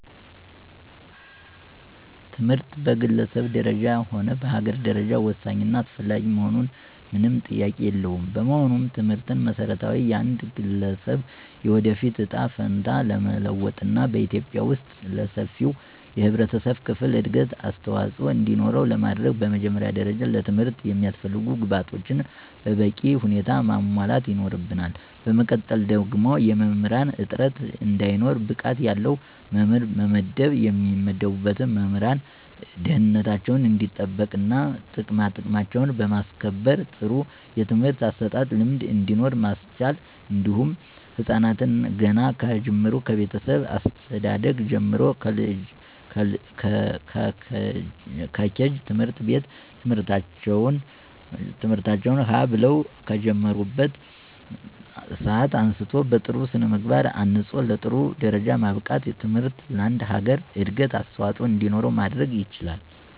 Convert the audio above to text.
ትምህርት በግለሰብ ደረጃ ሆነ በአገር ደረጃ ወሳኝ እና አስፈላጊ መሆኑ ምንም ጥያቄ የለውም። በመሆኑም ትምህርትን በመሰረታዊነት የአንድ ገለሰብ የወደፊት እጣ ፈንታ ለመለወጥና በኢትዩጵያ ወስጥ ለሰፊው የህብረተሰብ ክፍል እድገት አስተዋፅኦ እንዲኖረው ለማድረግ በመጀመሪያ ደረጃ ለትምህርት የሚያስፈልጉ ግብአቶችን በበቂ ሁኔታ ማሟላት ይኖርብናል በመቀጠል ደግሞ የመምህራንን እጥረት እንዳይኖር ብቃት ያለው መምህር መመደብ የሚመደቡትን መምህራን ደህንነታቸው እንዲጠበቅና ጥቅማጥቅማቸውን በማስከበር ጥሩ የትምህርት አሰጣጥ ልምድ እንዲኖር ማስቻል እንዲሁም ህፃናትን ገና ከጅምሩ ከቤተሰብ አስተዳደግ ጀምሮ ከኬጂ ት/ቤት ትምህርታቸውን ሀ ብለው ከሚጀምሩበት ሰአት አንስቶ በጥሩ ስነምግባር አንፆ ለጥሩ ደረጃ ማብቃት ትምህርት ለአንድ ሀገር እድገት አስዋፆኦ እንዲኖር ማድረግ ይቻላል።